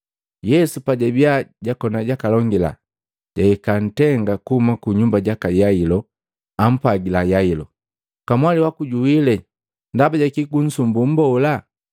Yesu pajabiya jakoni jakalongela, jahika ntenga kuhuma ku nyumba jaka Yailo. Ampwagila Yailo, “Kamwali waku juwile, ndaba jaki kunsumbu Mmbola?”